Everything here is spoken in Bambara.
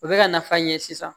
U bɛ ka nafa ɲɛ sisan